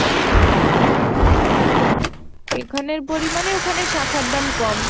এখানে পরিমানে ওখানে শাখার দাম কম।